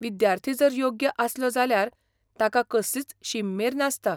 विद्यार्थी जर योग्य आसलो जाल्यार ताका कसलीच शीम मेर नासता.